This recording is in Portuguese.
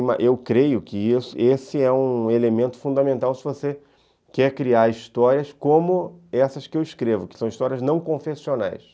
Eu creio que esse esse é um elemento fundamental se você quer criar histórias como essas que eu escrevo, que são histórias não confessionais.